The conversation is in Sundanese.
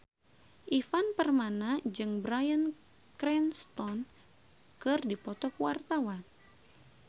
Ivan Permana jeung Bryan Cranston keur dipoto ku wartawan